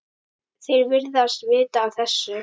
Þeir virðast vita af þessu.